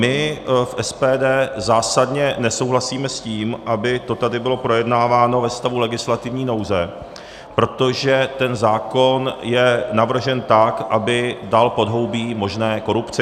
My v SPD zásadně nesouhlasíme s tím, aby to tady bylo projednáváno ve stavu legislativní nouze, protože ten zákon je navržen tak, aby dal podhoubí možné korupci.